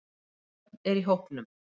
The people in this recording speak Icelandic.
Börn er í hópnum